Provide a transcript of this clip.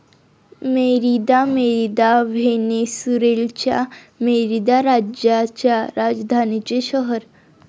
Merida, Merida, व्हेनेसुरेलच्या Merida राज्याच्या राजधानीचे शहर